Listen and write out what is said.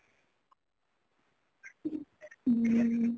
ଉଁ